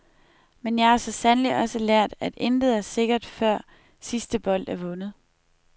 Men jeg har så sandelig også lært, at intet er sikkert før sidste bold er vundet.